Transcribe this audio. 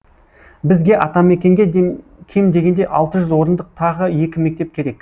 бізге атамекенге кем дегенде алты жүз орындық тағы екі мектеп керек